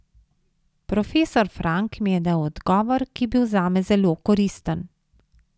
Profesor Frank mi je dal odgovor, ki je bil zame zelo koristen.